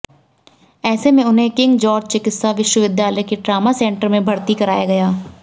ऐसे में उन्हें किंग जॉर्ज चिकित्सा विश्वविद्यालय के ट्रॉमा सेंटर में भर्ती कराया गया